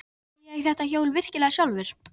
Átti ég þetta hjól virkilega sjálfur?